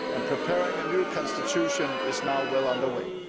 Preparing a new constitution is now well under way.